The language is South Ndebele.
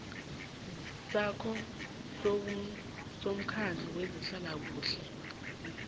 sakho kusomkhandlu wezehlalakuhle